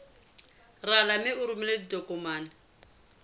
rala mme o romele ditokomene